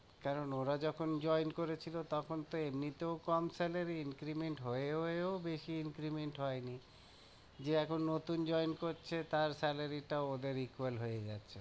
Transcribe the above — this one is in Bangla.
কারণ ওরা যখন join করেছিলো, তখন তো এমনিতেও কম salary increment হয়ে হয়েও বেশি increment হয়নি, যে এখন নতুন join করছে তার salary টাও ওদের equal হয়ে যাচ্ছে।